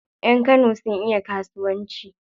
Yan Kano sun iya kasuwanci.